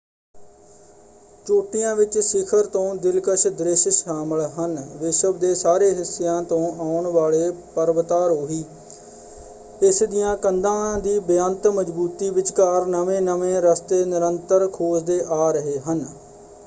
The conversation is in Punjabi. ਚੋਟੀਆਂ ਵਿੱਚ ਸਿਖਰ ਤੋਂ ਦਿਲਕਸ਼ ਦ੍ਰਿਸ਼ ਸ਼ਾਮਲ ਹਨ। ਵਿਸ਼ਵ ਦੇ ਸਾਰੇ ਹਿੱਸਿਆਂ ਤੋਂ ਆਉਣ ਵਾਲੇ ਪਰਵਤਾਰੋਹੀ ਇਸ ਦੀਆਂ ਕੰਧਾਂ ਦੀ ਬੇਅੰਤ ਮਜ਼ਬੂਤੀ ਵਿਚਕਾਰ ਨਵੇਂ-ਨਵੇਂ ਰਸਤੇ ਨਿਰੰਤਰ ਖੋਜਦੇ ਆ ਰਹੇ ਹਨ।